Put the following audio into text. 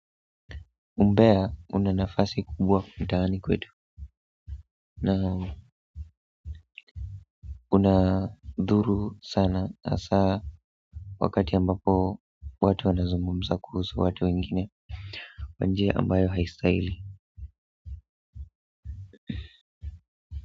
Umbea una nafasi kubwa mtaani kwetu na unadhuru sana hasaa wakati ambapo watu wanazungumza kuhusu watu wengine kwa njia ambayo haistahili.